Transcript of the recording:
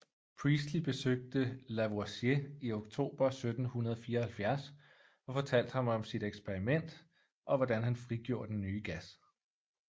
Priestley besøgte Lavoisier i oktober 1774 og fortalte ham om sit eksperiment og hvordan han frigjorde den nye gas